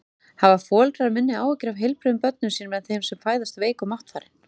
Hafa foreldrar minni áhyggjur af heilbrigðum börnum sínum en þeim sem fæðast veik og máttfarin?